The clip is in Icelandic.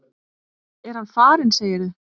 Er hann farinn, segirðu?